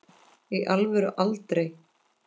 í alvöru aldrei